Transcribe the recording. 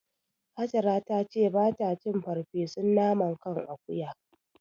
Hajara ta ce ba ta cin farfesun naman kan akuya.